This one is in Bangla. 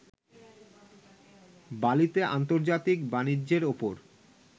বালিতে আন্তর্জাতিক বাণিজ্যের ওপর